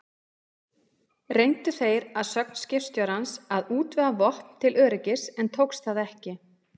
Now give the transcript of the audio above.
Reyndu þeir að sögn skipstjórans að útvega vopn til öryggis, en tókst það ekki.